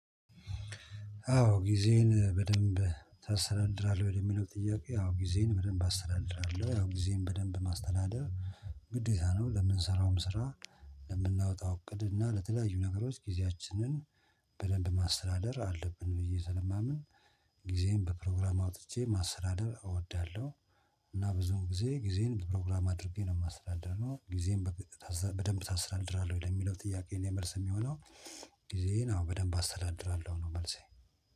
አዎ ጊዜን በደንብ ታሰተዳድራለህ ወይ ለሚለው? ጥያቄ አዎ ጊዜን በደንብ አሰተዳድራለሁ ያው ጊዜም በደንብ ማስተዳደር ግዴታ ነው ለምንሰራውም ስራ። ለምናወጣው እቅድ እና ለተለያዩ ነገሮች ጊዜያችንን በደንብ ማስተዳደር አለብን ብዬ ስለማምን ጊዜን በፕሮግራም አውጥቼ ማስተዳደር እወዳለሁ። እና ብዙን ጊዜ ጊዜን በፕሮግራም አድርጌ ነው የማስተዳድረው ጊዜን። በደንብ ታስተዳድራለህ ወይ ለሚለው? ጥያቄ ላይ መልስ የሚሆነው ጊዜን አዎ በደንብ አስተዳድራለሁ ነው መልሴ